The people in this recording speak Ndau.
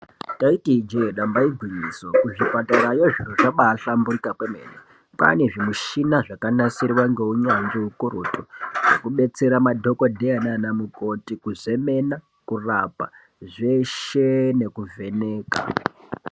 Taiti ijee damba igwinyiso ku zvipatara yo zviro zvabai hlamburika kwemene kwane zvi mushina zvaka nasirwa nge unyanzvi ukurutu zveku betsera madhokodheya nana mukoti kuzemena kurapa zveshe neku vheneka.